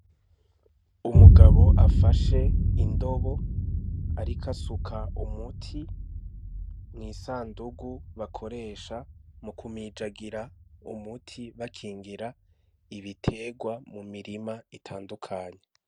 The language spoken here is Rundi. Umugabo afashe indobo, ariko asuka umuti mw'isandugu bakoresha mu kumijagira umuti bakingira ibiterwa mu mirima itandukanya.